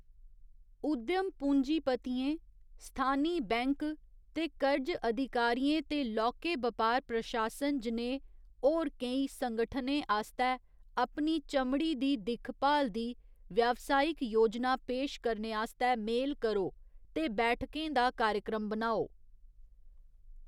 उद्यम पूंजीपतियें, स्थानी बैंक दे कर्ज अधिकारियें ते लौह्‌‌के बपार प्रशासन जनेह् होर केई संगठनें आस्तै अपनी चमड़ी दी दिक्खभाल दी व्यावसायिक योजना पेश करने आस्तै मेल करो ते बैठकें दा कार्यक्रम बनाओ।